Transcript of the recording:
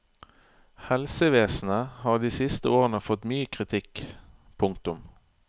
Helsevesenet har de siste årene fått mye kritikk. punktum